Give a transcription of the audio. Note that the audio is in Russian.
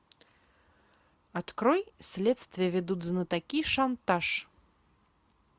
открой следствие ведут знатоки шантаж